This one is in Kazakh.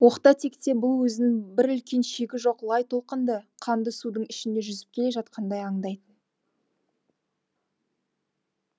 оқта текте бұл өзін бір үлкен шегі жоқ лай толқынды қанды судың ішінде жүзіп келе жатқандай аңдайтын